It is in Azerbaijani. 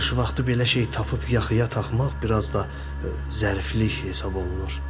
Qış vaxtı belə şey tapıb yaxıya taxmaq biraz da zəriflik hesab olunur.